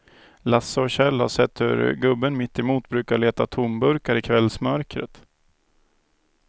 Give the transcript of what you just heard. Lasse och Kjell har sett hur gubben mittemot brukar leta tomburkar i kvällsmörkret.